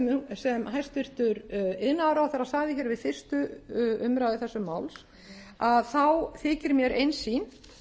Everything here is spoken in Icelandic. sem hæstvirtur iðnaðarráðherra sagði hér við fyrstu umræðu þessa máls að þá þykir mér einsýnt